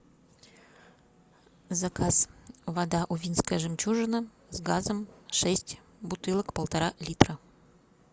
заказ вода увинская жемчужина с газом шесть бутылок полтора литра